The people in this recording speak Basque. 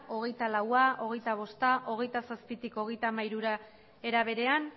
hogeita laua hogeita bosta hogeita zazpitik hogeita hamairura era berean